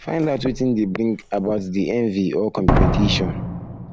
find out wetin de bring about di envy or competition